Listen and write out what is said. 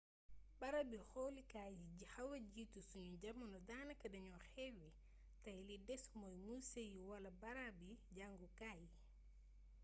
barabi xoolukaay yi xawa jiitu sunu jamono daanaka dañu xewwi tay li des mooy muse yi wala barabi jàngukaay yi